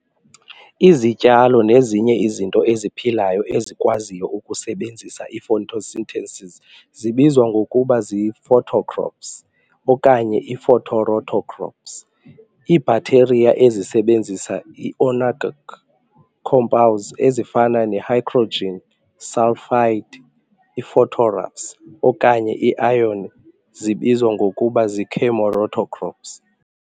Izityalo nezinye izinto eziphilayo ezikwaziyo ukusebenzisa i-photosynthesis zibizwa ngokuba zii-phototrophs okanye ii-photoautotrophs. Ii-bacteria ezisebenzisa ii-inorganic compounds ezifana ne-hydrogen sulfide, i-phosphorus okanye i-iron zibizwa ngokuba zii-chemoautotrophs.